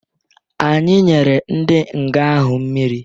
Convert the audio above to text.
Anyi nyere ndi nga ahụ mmịrị